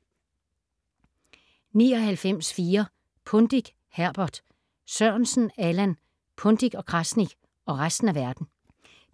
99.4 Pundik, Herbert Sørensen, Allan: Pundik & Krasnik - og resten af verden